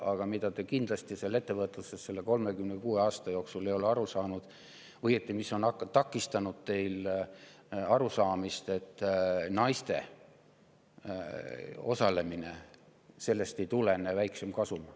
Aga millest te ei ole ettevõtluses selle 36 aasta jooksul aru saanud, on see – või, õigemini, see on takistanud teil aru saamast –, et naiste osalemisest ei tulene väiksem kasum.